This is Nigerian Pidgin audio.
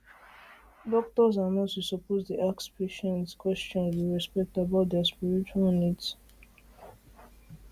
doctors and nurses suppose dey ask patients dey ask patients question with respect about their spiritual needs